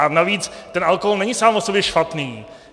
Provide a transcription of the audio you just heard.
A navíc, ten alkohol není sám o sobě špatný.